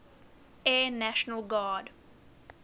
air national guard